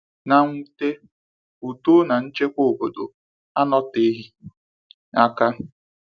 Na mnwute, udo na nchekwa obodo anọ teghị aka.